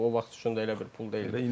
Bu o vaxt üçün də elə bir pul deyildi.